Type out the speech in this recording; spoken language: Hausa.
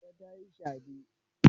Hauwa ta yi shade.